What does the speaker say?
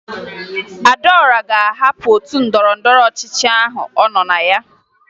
Adaọra ga-ahapụ otu ndọrọndọrọ ọchịchị ahụ ọ nọ na ya